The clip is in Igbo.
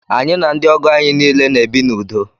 Anyi na ndi ogo anyị niile na ebi na udo